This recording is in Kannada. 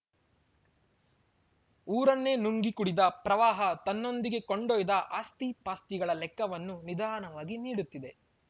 ಊರನ್ನೇ ನುಂಗಿ ಕುಡಿದ ಪ್ರವಾಹ ತನ್ನೊಂದಿಗೆ ಕೊಂಡೊಯ್ದ ಆಸ್ತಿಪಾಸ್ತಿಗಳ ಲೆಕ್ಕವನ್ನು ನಿಧಾನವಾಗಿ ನೀಡುತ್ತಿದೆ